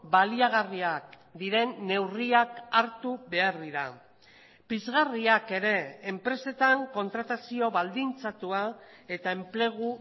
baliagarriak diren neurriak hartu behar dira pizgarriak ere enpresetan kontratazio baldintzatua eta enplegu